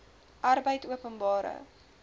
arbeidopenbare